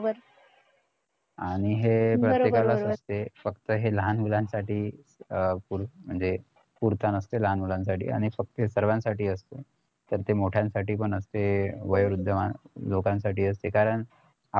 आणि हे प्रत्येकालाच असते फक्त लहान मुलांसाठी अं म्हणजे पुरता नसते लहान मुलांसाठी आणि फक्त सर्वासाठी असते तर ते मोठयांसाठी पण असते ते वयोवृद्ध मन लोकांसाठी असते कारण